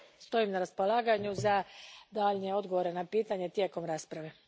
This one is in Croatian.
Stojim na raspolaganju za daljnje odgovore na pitanja tijekom rasprave.